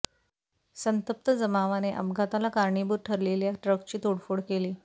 संतप्त जमावाने अपघाताला कारणीभूत ठरले ल्या ट्रकची तोडफोड केली